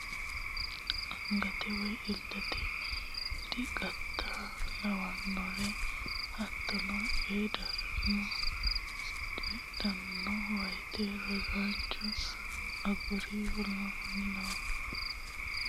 Angate woy illete diqata lawannore hattono coyi ranno coydhanno woyte rosaancho a aguri w k l Baalante rosaanora taalo illachishate deerranna uyinsa Angate.